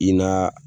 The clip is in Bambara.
I naa